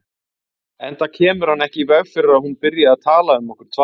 Enda kemur hann ekki í veg fyrir að hún byrji að tala um okkur tvær.